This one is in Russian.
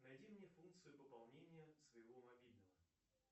найди мне функцию пополнения своего мобильного